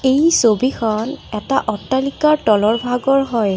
এই ছবিখন এটা অট্টালিকাৰ তলৰ ভাগৰ হয়।